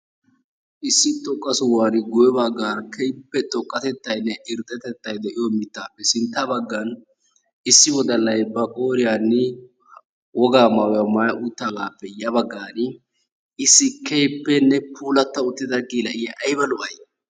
issi dumma sohuwani guye bagaara keehippe xoqatettay de'iyo, mitaappe sinta bagan, issi wodalay ba qooriyanni wogaa maayuwaa maayi utaagaappe ya bagaani issi keehippene puulata uttida geela'iya aybba lo'ay?